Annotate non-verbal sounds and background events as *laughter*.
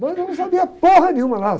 Mas eu não sabia *unintelligible* nenhuma lá.